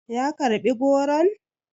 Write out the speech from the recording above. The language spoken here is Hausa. ya karɓi goron?